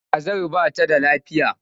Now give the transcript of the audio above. Kazar ba ta da lafiya.